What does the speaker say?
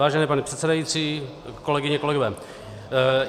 Vážený pane předsedající, kolegyně, kolegové.